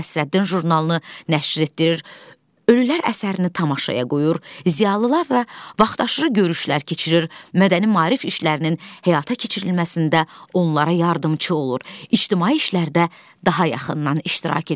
Molla Nəsrəddin jurnalını nəşr etdirir, Ölülər əsərini tamaşaya qoyur, ziyalılar da vaxtaşırı görüşlər keçirir, mədəni-maarif işlərinin həyata keçirilməsində onlara yardımçı olur, ictimai işlərdə daha yaxından iştirak edir.